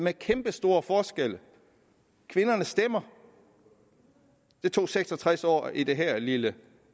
er kæmpestore forskelle kvinderne stemmer det tog seks og tres år i det her lille